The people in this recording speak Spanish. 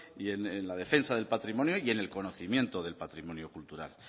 y en la defensa del patrimonio y en el conocimiento del patrimonio cultural